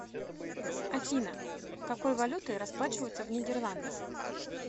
афина какой валютой расплачиваются в нидерландах